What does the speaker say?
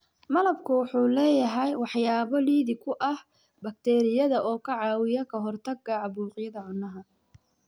Malabku wuxuu leeyahay waxyaabo liddi ku ah bakteeriyada oo ka caawiya ka hortagga caabuqyada cunaha.